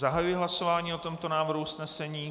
Zahajuji hlasování o tomto návrhu usnesení.